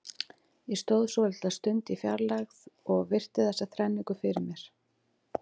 Ég stóð svolitla stund í fjarlægð og virti þessa þrenningu fyrir mér.